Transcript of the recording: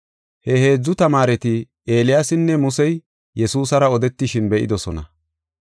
He heedzu tamaareti, Eeliyaasinne Musey Yesuusara odetishin be7idosona.